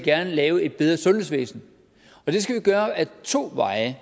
er at lave et bedre sundhedsvæsen og det skal vi gøre ad to veje